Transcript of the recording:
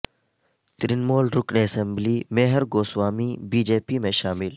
ترنمول رکن assembly Mihir Goswami BJP میں شامل